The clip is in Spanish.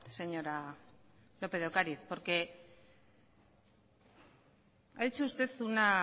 señora lópez de ocariz porque ha dicho usted una